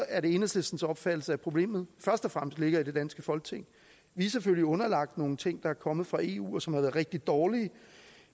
er det enhedslistens opfattelse at problemet først og fremmest ligger i det danske folketing vi er selvfølgelig underlagt nogle ting der er kommet fra eu og som har været rigtig dårlige